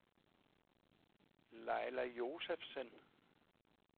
Laila Josefsen